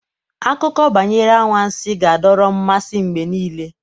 Akụkọ banyere anwansi ga-adọrọ mmasị mgbe niile.